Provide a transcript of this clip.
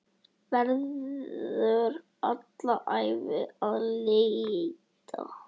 Verður alla ævi að leita.